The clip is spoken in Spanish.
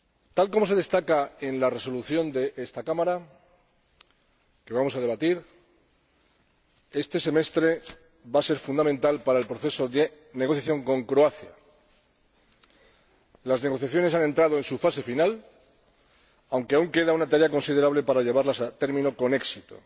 Tal como se destaca en la Resolución de esta Cámara que vamos a debatir, este semestre va a ser fundamental para el proceso de negociación con Croacia. Las negociaciones han entrado en su fase final, aunque aún queda una tarea considerable para llevarlas a término con éxito.